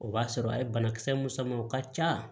O b'a sɔrɔ a ye banakisɛ mun sama o ka ca